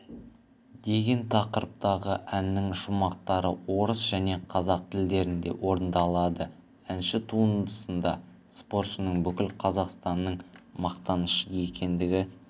деген тақырыптағы әннің шумақтары орыс және қазақ тілдерінде орындалады әнші туындысында спортшының бүкіл қазақстанның мақтанышы екендігі